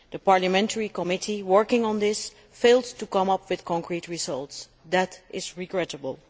The parliamentary committee working on this failed to come up with concrete results that is regrettable.